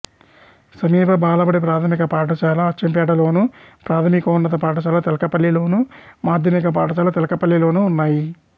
సమీప బాలబడి ప్రాథమిక పాఠశాల అచ్చంపేటలోను ప్రాథమికోన్నత పాఠశాల తెల్కపల్లిలోను మాధ్యమిక పాఠశాల తెల్కపల్లిలోనూ ఉన్నాయి